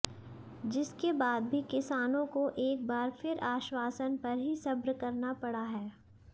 जिसके बाद भी किसानों को एक बार फिर आश्वासन पर ही सब्र करना पड़ा है